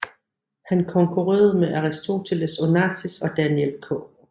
Han konkurrerede med Aristoteles Onassis og Daniel K